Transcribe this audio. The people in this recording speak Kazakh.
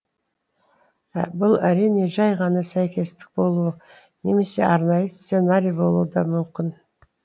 бұл әрине жай ғана сәйкестік болуы немесе арнайы сценарий болуы да мүмкін